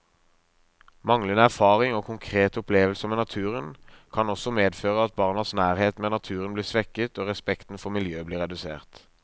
Manglende erfaring og konkrete opplevelser med naturen kan også medføre at barnas nærhet med naturen blir svekket og respekten for miljø bli redusert.